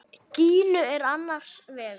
Gínu er annars vegar.